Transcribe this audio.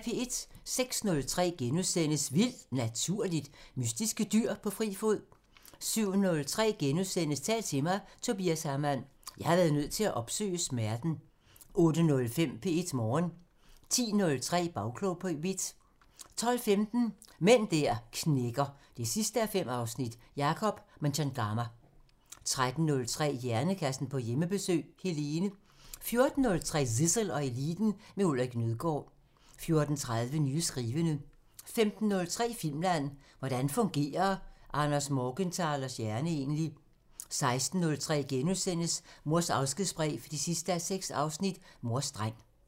06:03: Vildt Naturligt: Mystiske dyr på fri fod * 07:03: Tal til mig – Tobias Hamann: "Jeg har været nødt til at opsøge smerten" * 08:05: P1 Morgen 10:03: Bagklog på P1 12:15: Mænd der knækker 5:5 – Jacob Mchangama 13:03: Hjernekassen på Hjemmebesøg – Helene 14:03: Zissel og Eliten: Med Ulrik Nødgaard 14:30: Nye skrivende 15:03: Filmland: Hvordan fungerer Anders Morgenthalers hjerne egentlig? 16:03: Mors afskedsbrev 6:6 – Mors dreng *